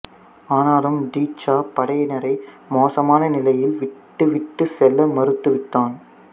ஆனாலும் டி சா படையினரை மோசமான நிலையில் விட்டுவிட்டுச் செல்ல மறுத்துவிட்டான்